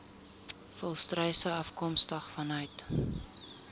volstruise afkomstig vanuit